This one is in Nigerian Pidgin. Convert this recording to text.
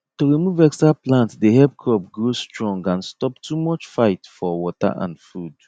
to remove extra plant dey help crop grow strong and stop too much fight for water and food